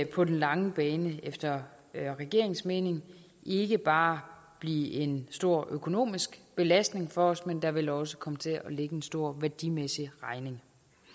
på den lange bane efter regeringens mening ikke bare blive en stor økonomisk belastning for os men der vil også komme til at ligge en stor værdimæssig regning